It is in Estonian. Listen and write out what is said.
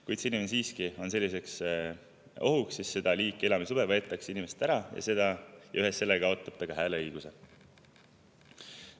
Kui see inimene siiski on selliseks ohuks, siis seda liiki elamisluba võetakse inimeselt ära ja ühes sellega kaotab ta ka hääleõiguse.